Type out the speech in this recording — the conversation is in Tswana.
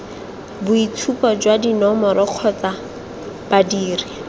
boitshupo jwa dinomoro kgotsa badiri